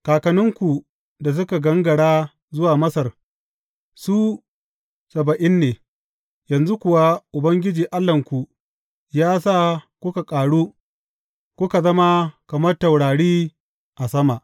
Kakanninku da suka gangara zuwa Masar, su saba’in ne, yanzu kuwa Ubangiji Allahnku ya sa kuka ƙaru, kuka zama kamar taurari a sama.